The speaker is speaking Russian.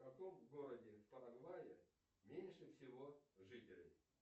в каком городе в парагвае меньше всего жителей